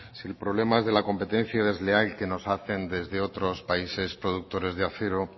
si el problema es de la competencia desleal que nos hacen desde otros países productores de acero